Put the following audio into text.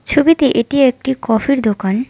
ছবিতে এটি একটি কফির দোকান।